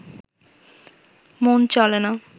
মন চলে না